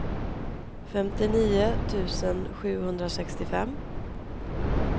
femtionio tusen sjuhundrasextiofem